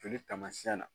Joli taamasiyɛn na